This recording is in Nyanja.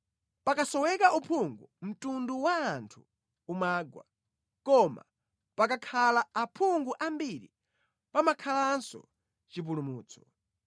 Pakasoweka uphungu mtundu wa anthu umagwa; koma pakakhala aphungu ambiri pamakhalanso chipulumutso.